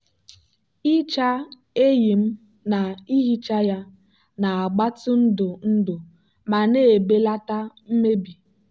ịcha eyịm na ihicha ya na-agbatị ndụ ndụ ma na-ebelata mmebi.